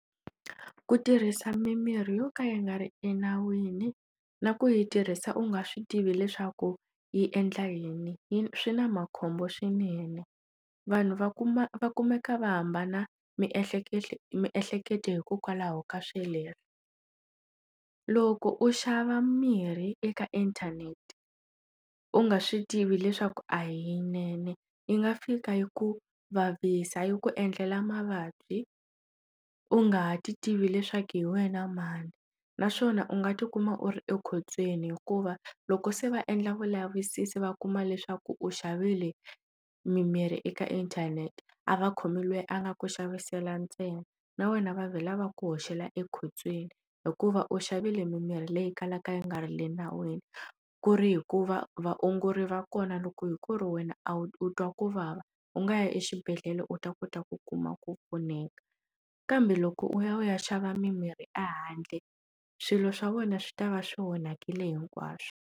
Ku tirhisa mimirhi yo ka yi nga ri enawini na ku yi tirhisa u nga swi tivi leswaku yi endla yini yi swi na makhombo swinene vanhu va kuma va kumeka va hambana miehleketo miehleketo hikokwalaho ka swoleswo loko u xava mirhi eka inthanete u nga swi tivi leswaku a yinene yi nga fika yi ku vavisa yi ku endlela mavabyi u nga ti tivi leswaku hi wena mani naswona u nga tikuma u ri ekhotsweni hikuva loko se va endla vulavisisi va kuma leswaku u xavile mimirhi eka inthanete a va khomi loyi a nga ku xavisela ntsena na wena va ku hoxela ekhotsweni hikuva u xavile mimirhi leyi kalaka yi nga ri le nawini ku ri hikuva vaongori va kona loko hi ku ri wena a wu u twa ku vava u nga ya exibedhlele u ta kota ku kuma ku pfuneka kambe loko u ya u ya xava mimirhi ehandle swilo swa wena swi ta va swi onhakile hinkwaswo.